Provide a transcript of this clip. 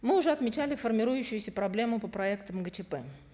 мы уже отмечали формирующуюся проблему по проектам гчп